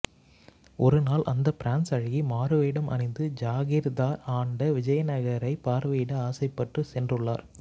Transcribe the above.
ஒரு நாள் அந்த பிரான்ஸ் அழகி மாறுவேடம் அணிந்து ஜாகிர்தார் ஆண்ட விஜயநகரை பார்வையிட ஆசைப்பட்டு சென்றுள்ளார்